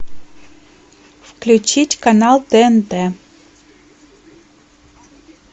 включить канал тнт